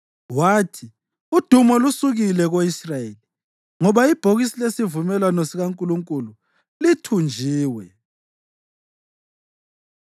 Wathi, “Udumo lusukile ko-Israyeli, ngoba ibhokisi lesivumelwano sikaNkulunkulu lithunjiwe.”